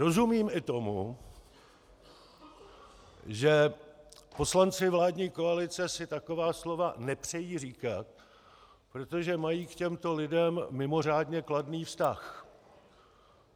Rozumím i tomu, že poslanci vládní koalice si taková slova nepřejí říkat, protože mají k těmto lidem mimořádně kladný vztah.